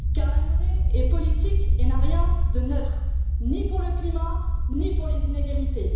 Car la monnaie est politique et n'a rien de neutre, ni pour le climat, ni pour les inégalités.